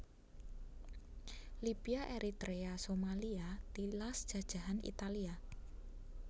Libya Eritrea Somalia tilas jajahan Italia